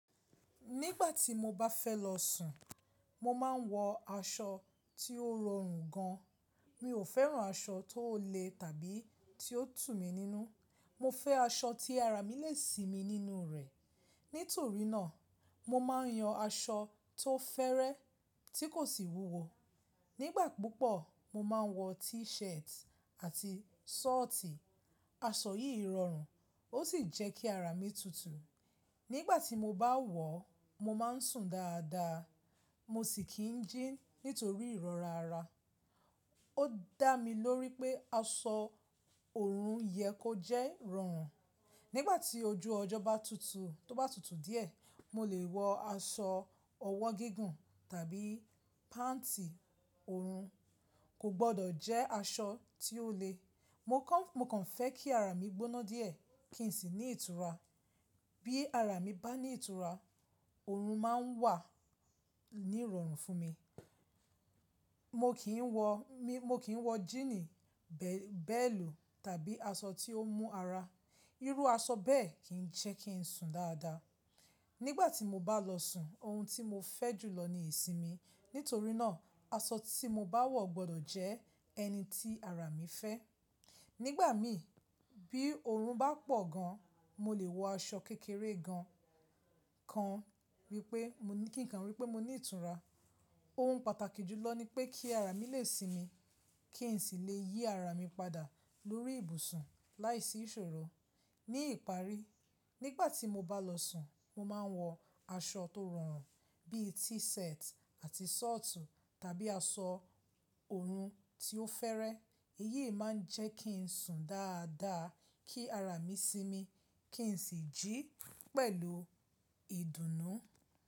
Nígbà tí mo bá fẹ́ lọ sùn, mo máa ń wọ aṣọ tí ó rọrùn gan. Mi ò fẹ́ràn aṣọ tó le tàbí tí ó tú mi nínú. Mo fẹ́ aṣọ tí ara mi lè sí mi nínú rẹ̀. Nítorí náà, mo máa ń yan aṣọ tó fẹ́rẹ́ tí kò sì wúwo. Nígbà púpọ̀, mo máa ń wọ T-shirt àti sọọti. Aṣọ yìí rọrùn ó sì jẹ́ kí ara mi tutù. Nígbà tí mo bá wọ̀, mo máa ń sùn dáadáa. Mo sì kì ń jí nítorí ìrọra ara. Ó dà mí lórí pé aṣọ òòrùn yẹ kó jẹ́ rọrùn. Nígbà tí ojú ọjọ́ bá tutù tó bá tutù díẹ̀, mo lè wọ aṣọ ọwọ́ gígùn tàbí pant òòrùn, kò gbọdọ̀ jẹ́ aṣọ tí ó le. Mo kàn fẹ́ kí ara mi gbóná díẹ̀ kí n sì ní ìtura. Bí ara mi bá ní ìtura, òòrùn máa ń wà ní ìrọ̀rùn fún mi. Mo kì í wọ, mo kì ń wọ jíìnì, bẹ́ẹ̀lù tàbí aṣọ tí ó mú ara. Irú aṣọ bẹ́ẹ̀ kì ń jẹ́ kí ń sùn dáadáa. Nígbà tí mo bá lọ sùn ohun tí mo fẹ́ jùlọ ni ìsinmi. Nítorí náà, aṣọ tí mo bá wọ̀ gbọdọ̀ jẹ́ ẹni tí ara mi fẹ́. Nígbà mi bí òòrùn bá pọ̀ gan, mo lè wọ aṣọ kékeré gan kan, wípé mo ní kíkan wípé mo ní ìtura. Ohun pàtàkì jùlọ ni pé kí ara mi lè sinmi kí n sì lè yí ara mi padà lórí ibùsùn láìsí ìṣòro. Ní ìparí, nígbà tí mo bá lọ sùn, mo máa ń wọ aṣọ tó rọrùn bí i T-shirt àti short tàbí aṣọ òòrùn tí ó fẹ́rẹ́. Eyí máa ń jẹ́ kí ń sùn dáadáa, kí ara mi sinmi kí n sì jí pẹ̀lú ìdùnnú.